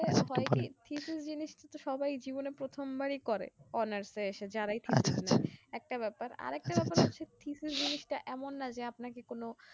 জিনিসটা তো সবাই জীবনে প্রথমবারই করে honour এ এসে যারাই থাকে একটা ব্যাপার আর একটা ব্যাপার হচ্ছে জিনিসটা এমন না যে আপনাকে কোনো